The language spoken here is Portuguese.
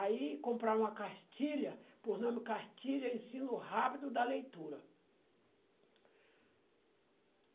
Aí compraram uma cartilha, por nome Cartilha Ensino Rápido da Leitura.